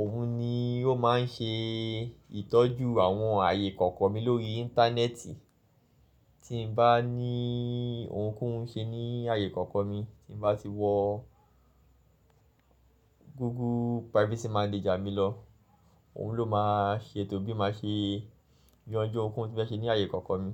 Òun ni ó máa ń ṣe ìtọ́jú àwọn ààyè ìkọ̀kọ̀ mi lórí Íńtánẹ́ẹ̀tì. Tí n bá ní ohùn kan ṣe ní ààyè ìkọ̀kọ̀ mi, tí mo bá ti wọ Google Privacy Manager mi lọ, òun ló máa ṣe ètò bí mo ṣe yanjú ohun ko hun tí mó fẹ́ ṣe ní ààyè ìkọ̀kọ̀ mi.